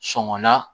Sɔngɔ na